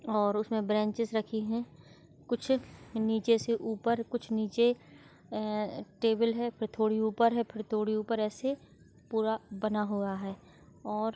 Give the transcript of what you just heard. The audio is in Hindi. और उसमें ब्रांचेस रखी है कुछ नीचे से ऊपर कुछ नीचे अ टेबल है फिर थोड़ी ऊपर है फिर थोड़ी ऊपर ऐसे पूरा बना हुआ है और--